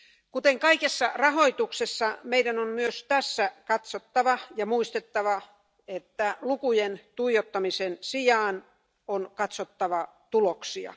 Kuten kaikessa rahoituksessa meidän on myös tässä katsottava ja muistettava, että lukujen tuijottamisen sijaan, on katsottava tuloksia.